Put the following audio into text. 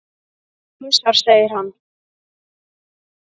Hasar, segir hann.